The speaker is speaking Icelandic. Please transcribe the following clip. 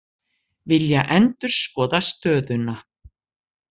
Vilja endurskoða stöðuna